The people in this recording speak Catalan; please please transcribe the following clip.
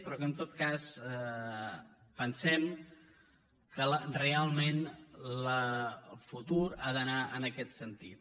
però en tot cas pensem que realment el futur ha d’anar en aquest sentit